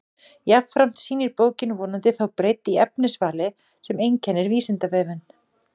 Jafnframt sýnir bókin vonandi þá breidd í efnisvali sem einkennir Vísindavefinn.